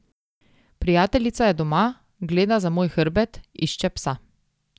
Prijateljica je doma, gleda za moj hrbet, išče psa.